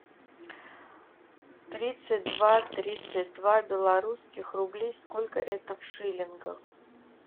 тридцать два тридцать два белорусских рублей сколько это в шиллингах